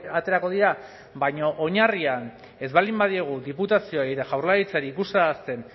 aterako dira baina oinarrian ez baldin badiegu diputazioei eta jaurlaritzari ikustarazten